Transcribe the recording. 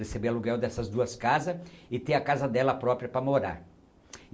receber aluguel dessas duas casas e ter a casa dela própria para morar.